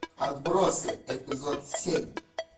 отбросы эпизод семь